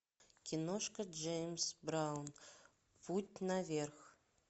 киношка джеймс браун путь наверх